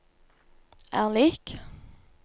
er lik